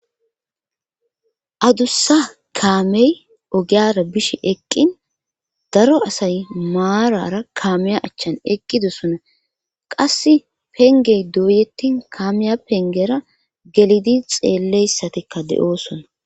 adussa kaamey ogiyara bishe eqqin daro asay maarara kaameya achchan eqqidosona qas pengey duuyettin kaamiya pengera gelidi xeelleyssatikka de7oosona